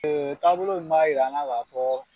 taabolo in b'a yira an na ka fɔ